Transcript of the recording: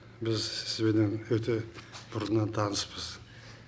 біз сізбенен өте бұрыннан таныспыз